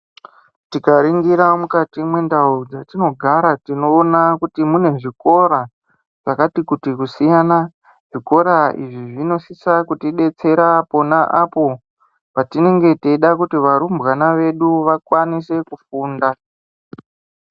Tinganingira mukati mwendau dzatinogara tinoona kuti mune zvikora zvakati kuti kusiyana zvikora izvi zvinosisa kuti detsera pona apo patinenge teida kuti varumbwana vedu vakwanise kufunda.